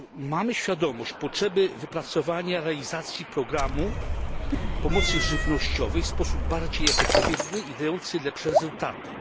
Mamy świadomość potrzeby wypracowania realizacji programu pomocy żywnościowej w sposób bardziej efektywny i dający lepsze wyniki.